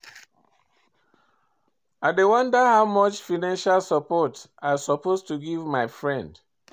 I dey wonder how much financial support I suppose to give to my friend.